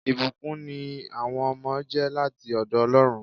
ìbùkún ní àwọn ọmọ jẹ́ láti ọ̀dọ̀ Ọlọ́run